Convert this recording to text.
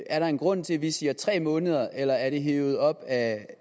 er der en grund til at vi siger tre måneder eller er det hevet op af